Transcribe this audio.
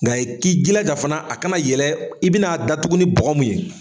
Nka i k'i jilaja fana a kana yɛlɛ i bɛn'a datugu ni bɔgɔ mun ye.